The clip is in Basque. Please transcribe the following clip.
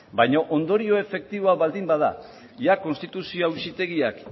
baino ondorio efektiboa baldin bada konstituzio auzitegiak